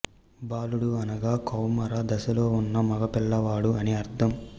బాలుడు అనగా కౌమార దశలో ఉన్న మగ పిల్లవాడు అని అర్థం